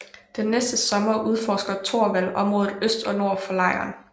Den næste sommer udforsker Torvald området øst og nord for lejren